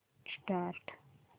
start